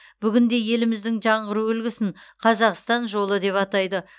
бүгінде еліміздің жаңғыру үлгісін қазақстан жолы деп атайды